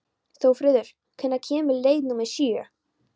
Þórfríður, hvenær kemur leið númer sjö?